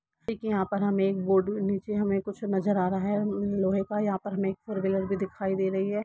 एक यहां पर हम एक बोर्ड नीचे हमें कुछ नजर आ रहा है लोहे का यहां पर हमें फोर व्हीलर भी दिखाई दे रही है।